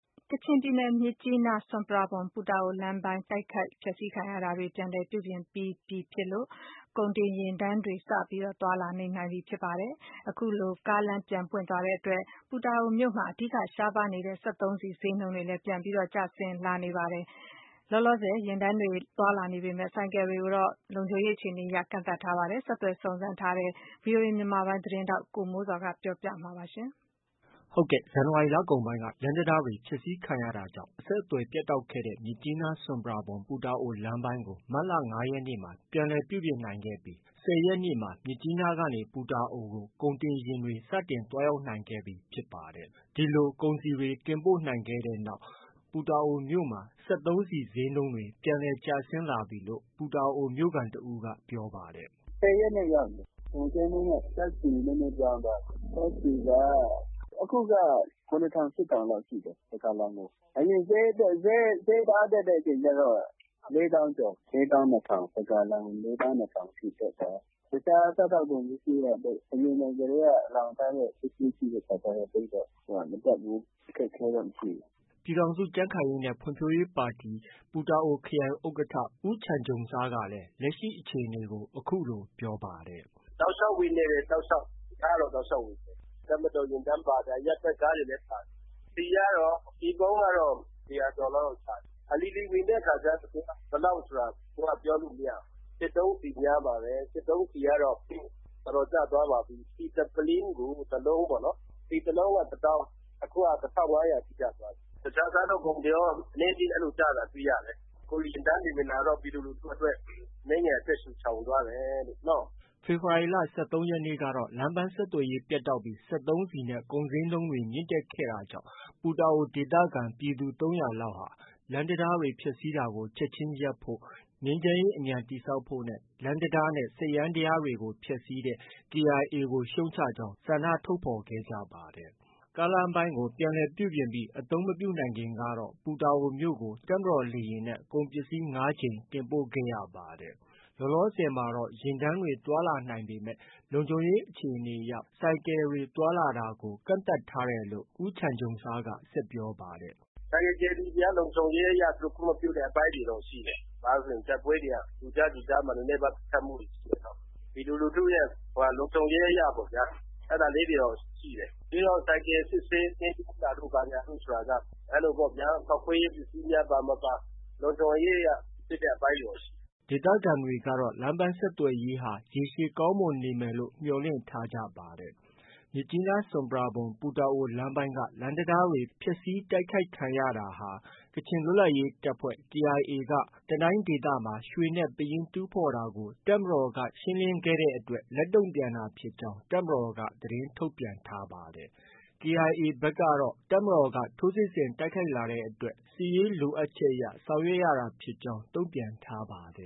ကချင်ပြည်နယ် မြစ်ကြီးနား- ဆွမ်ပရာဘွမ်- ပူတာအိုလမ်းပိုင်းမှာ ကုန်တင်ယာဉ်တန်းတွေ စတင် သွားလာနိုင်ပြီ ဖြစ်တာကြောင့် ပူတာအိုမြို့မှာ အဓိက ရှားပါးနေတဲ့ စက်သုံးဆီဈေးနှုန်းတွေ ပြန်လည် ကျဆင်းလာပြီ ဖြစ်ပါတယ်။ လောလောဆည် ယာဉ်တန်းတွေ သွားလာနေပေမဲ့ ဆိုင်ကယ်တွေကိုတော့ လုံခြုံရေး အခြေအနေ အရ ကန့်သတ်ထားပါတယ်။ ဒီသတင်းကိုတော့ ဗွီအိုအေ မြန်မာပိုင်းရဲ့ သတင်းထောက် ကိုမိုးဇော်က တင်ပြ ထားပါတယ်။ ဇန်နဝါရီလကုန်ပိုင်းက လမ်းတံတားတွေ ဖျက်ဆီးခံရတာကြောင့် အဆက်အသွယ် ပြတ်တောက်ခဲ့တဲ့ မြစ်ကြီးနား- ဆွမ်ပရာဘွမ်- ပူတာအိုလမ်းပိုင်းကို မတ်လ ၅ရက်နေ့မှာ ပြန်လည် ပြုပြင်နိုင်ခဲ့တဲ့နောက် ၁၀ရက်နေ့မှာ မြစ်ကြီးနားကနေ ပူတာအိုကို ကုန်တင်ယာဉ်တွေ စတင် သွားရောက်နိုင်ခဲ့ပြီ ဖြစ်ပါတယ်။ ဒီလို ကုန်စည်တွေ တင်ပို့နိုင်တဲ့နောက် ပူတာအိုမြို့မှာ စက်သုံးဆီဈေးနှုန်းတွေ ပြန်လည် ကျဆင်းလာပြီလို့ ပူတာအို မြို့ခံတဦးက ပြောပါတယ်။ “၁၀ရက်နေ့ ရောက်တယ်။ ကုန်ဈေးနှုန်းက ဓါတ်ဆီဈေးနှုန်းနည်းနည်းပြောင်းသွားတယ်။ ဓါတ်ဆီက အခုက ၇ထောင်။ ၈ထောင်လောက်ဖြစ်သွားတယ်။ တစ်ဂါလံကို။ အရင်ဈေးတအားတက်တဲ့အချိန်ကျတော့ တစ်ဂါလံကို ၄သောင်းကျော်။ ၄သောင်း ၂ထောင်။ တစ်ဂါလံကို ၄သောင်း ၂ထောင်အထိ တက်သွားတာ။ အခြားစားသောက်ကုန်ပစ္စည်းတွေကတော့ အရင် လှောင်ထားတာရှိတဲ့အခါကျ သိပ်တော့ မတက်ဘူး။ အခက်အခဲတော့ မရှိဘူး။” ပြည်ထောင်စုကြံ့ခိုင်ရေးနဲ့ ဖွံ့ဖြိုးရေးပါတီက ပူတာအိုခရိုင် ဥက္ကဌ ဦးချန်ဂျုံဆားကလည်း လက်ရှိအခြေအနေကို အခုလို ပြောပါတယ်။ “တောက်လျှောက်ဝင်နေတယ်။ တောက်လျှောက်။ ကားတော့ တောက်လျှောက်ဝင်နေတယ်။ တပ်မတော် ယာဉ်တန်းပါတယ်။ အရပ်ဘက် ကားတွေလည်း ပါတယ်။ ဆီကတော့ ဆီပုံးကတော့ ၁၀၀ကျော်လောက် ပါတယ်။ အလီလီဝင်တဲ့အခါကျတော့ ဘယ်လောက်ဆိုတာ ပြောလို့ မရဘူး။ စက်သုံးဆီများပါတယ်။ စက်သုံးဆီကတော့ တော်တော်ကျသွားပါပြီ။ တစ်ပုလင်းကို တလုံးပေါ့ ။ တစ်လုံးကို တသောင်း အခုက တစ်ထောင်ငါးရာထိ ကျသွားပြီ။ တခြားစားသောက်ကုန်တွေကော အနည်းအကျဉ်းတော့ ကျတာ တွေ့ရတယ်။ အခု ယာဉ်တန်းတွေ ဝင်လာတော့ ပြည်သူလူထုအတွက် အနည်းငယ် အသက်ရှုချောင်သွားတယ်လို့ နော။” ဖေဖော်ဝါရီလ ၁၃ရက်နေ့ကတော့ လမ်းပန်းဆက်သွယ်ရေး ပျက်တောက်ခဲ့ပြီး စက်သုံးဆီနဲ့ ကုန်ဈေးနှုန်းတွေ မြင့်တက်ခဲ့တာကြောင့် ပူတာအို ဒေသခံ ပြည်သူ ၃၀၀လောက်ဟာ လမ်းတံတား ဖျက်ဆီးတာကို ချက်ချင်း ရပ်ဖို့၊ ငြိမ်းချမ်းရေးအမြန်တည်ဆောက်ဖို့ နဲ့နောက် လမ်းတံတားနဲ့ စက်ယန္တရားတွေကို ဖျက်ဆီးတဲ့ KIA ရှုတ်ချကြောင်း ဆန္ဒ ထုတ်ဖော်ခဲ့ကြပါတယ်။ ကားလမ်းပိုင်းကို အသုံးမပြုနိုင်ခင်ကတော့ ပူတာအိုမြို့ကို တပ်မတော်လေယာဉ်နဲ့ ကုန်ပစ္စည်း ၅ကြိမ် တင်ပို့ခဲ့ဖူးပါတယ်။ လောလောဆည်မှာတော့ ယာဉ်တန်းတွေ သွားလာနေပေမဲ့ လုံခြုံရေးအခြေအနေအရ ဆိုင်ကယ်တွေ သွားလာတာကို ကန့်သတ်ထားတယ်လို့လည်း ဦးချန်ဂျုံဆားက ဆက်ပြောပါတယ်။ “ဆိုင်ကယ် ကယ်ရီတွေက လုံခြုံရေးအရ သူတို့ ခွင့်မပြုတဲ့အခြေအနေတွေတော့ ရှိတယ်။ ဘာလို့လည်းဆို တိုက်ပွဲတွေက ကြိုကြားကြိုကြားမှာ ပစ်ခတ်မှုတွေက ရှိနေတော့ ပြည်သူလူထုရဲ့ လုံခြုံရေးအရပေါ့ဗျာ။ အဲဒါလေးတွေတော့ ရှိတယ်။ ပြီးတော့ ဆိုင်ကယ်စစ်ဆေးတာတို့ ဘာတို့ဆိုတာက ဖောက်ခွဲရေးပစ္စည်းပါမပါ လုံခြုံရေးအရ စစ်တဲ့ အပိုင်းတွေတော့ ရှိတယ်။ ” ဒေသခံတွေကတော့ လမ်းပန်းဆက်သွယ်ရေးဟာ ရေရှည်ကောင်းမွန်နေမယ်လို့လည်း မျှော်လင့် ထားကြပါတယ်။ မြစ်ကြီးနား- ဆွမ်ပရာဘွမ်- ပူတာအို လမ်းပိုင်းက လမ်းတံတားတွေ ဖျက်ဆီးတိုက်ခိုက်ခံရတာဟာ ကချင် လွတ်လပ်ရေးတပ်ဖွဲ့ KIAက တနိုင်းဒေသမှာ ရွှေနဲ့ ပယင်းတူးဖော်နေတာကို တပ်မတော်က ရှင်းလင်း ခဲ့တဲ့အတွက် လက်တုံပြန်တာဖြစ်ကြောင်းတပ်မတော်က သတင်း ထုတ်ပြန်ထားပါတယ်။ KIA ဖက်ကတော့ တပ်မတော်က ထိုးစစ်ဆင်တိုက်ခိုက်လာတဲ့အတွက် စစ်ရေးလိုအပ်ချက်အရ ဆောင်ရွက်ရတာဖြစ်ကြောင်း တုံ့ပြန် ထားပါတယ်